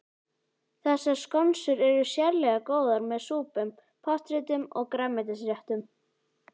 Þessar skonsur eru sérlega góðar með súpum, pottréttum og grænmetisréttum.